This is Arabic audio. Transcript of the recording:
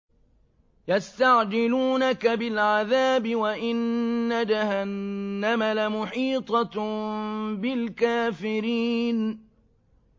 يَسْتَعْجِلُونَكَ بِالْعَذَابِ وَإِنَّ جَهَنَّمَ لَمُحِيطَةٌ بِالْكَافِرِينَ